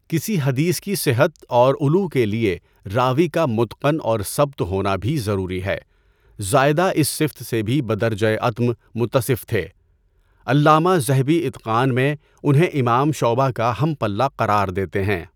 کسی حدیث کی صحت اور علو کے لیے راوی کا مُتْقَن اورثَبت ہونا بھی ضروری ہے۔ زائدہ اس صفت سے بھی بدرجۂ اتم متصف تھے۔ علامہ ذہبی اِتقان میں انہیں امام شعبہ کا ہم پلہ قرار دیتے ہیں۔